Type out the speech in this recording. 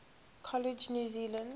college new zealand